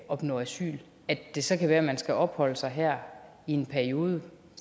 opnå asyl at det så kan være at man skal opholde sig her i en periode